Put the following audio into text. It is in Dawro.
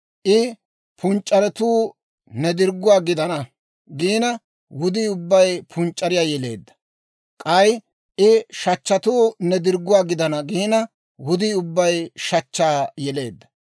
I, ‹Punc'c'aretuu ne dirgguwaa gidana› giina, wudii ubbay punc'c'ariyaa yeleedda; k'ay I, ‹shachchatuu ne dirgguwaa gidana› giina, wudii ubbay shachchaa yeleedda.